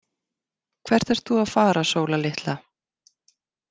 Hvert ert þú að fara Sóla litla.